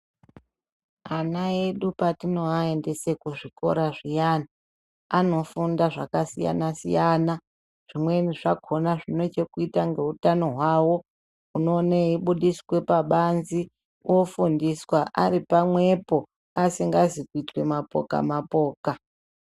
Vana vedu patinovaendesa kuzvikora zviyani anofunda zvakasiyana siyana zvine chekuita nehutano hwawo unoona weibudisa pabanze vofundiswa Ari pamwepo asingazi kuita mapoka mapoka.